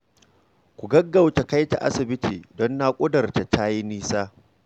Ku gaggauta kai ta asibitin, don naƙudar tata ta yi nisa